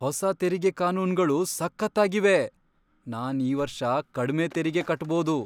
ಹೊಸ ತೆರಿಗೆ ಕಾನೂನ್ಗಳು ಸಖತ್ತಾಗಿವೆ! ನಾನ್ ಈ ವರ್ಷ ಕಡ್ಮೆ ತೆರಿಗೆ ಕಟ್ಬೋದು!